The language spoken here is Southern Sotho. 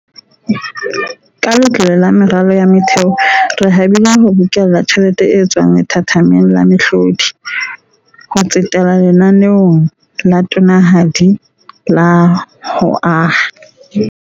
Ka Letlole la Meralo ya Motheo, re habile ho bokella tjhelete e tswang lethathameng la mehlodi, ho tsetela lenaneong la tonanahadi la ho aha.